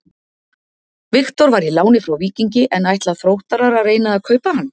Viktor var í láni frá Víkingi en ætla Þróttarar að reyna að kaupa hann?